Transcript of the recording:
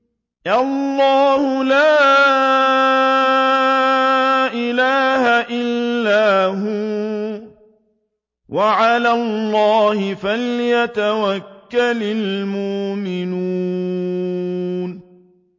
اللَّهُ لَا إِلَٰهَ إِلَّا هُوَ ۚ وَعَلَى اللَّهِ فَلْيَتَوَكَّلِ الْمُؤْمِنُونَ